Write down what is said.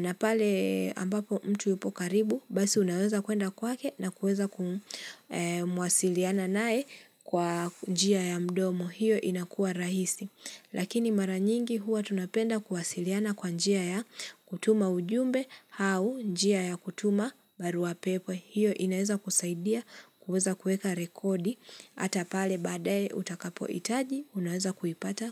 na pale ambapo mtu ipo karibu basi unaweza kuenda kwake na kuweza kumwasiliana naye kwa njia ya mdomo hiyo inakua rahisi. Lakini mara nyingi huwa tunapenda kuwasiliana kwa njia ya kutuma ujumbe au njia ya kutuma barua pepe. Hiyo inaweza kusaidia kuweza kueka rekodi. Hata pale baadae utakapo hitaji unaweza kuipata.